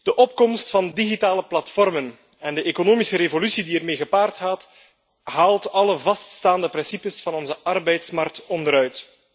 De opkomst van digitale platformen en de economische revolutie die ermee gepaard gaat, haalt alle vaststaande principes van onze arbeidsmarkt onderuit.